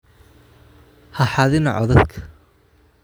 Ha xadina codadka